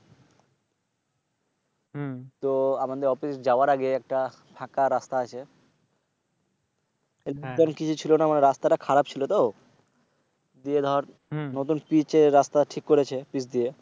তো আমাদের অফিস যাওয়ার আগে একটা ফাঁকা রাস্তা আছে। Help hend কিছু ছিলনা তো রাস্তাটা খারাপ ছিল তো গিয়ে দর নতুন ফিসে রাস্তা ঠিক করেছে ফিস দিয়ে।